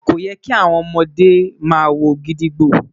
ko yẹ ki awọn ọmọde ma wo gídígbò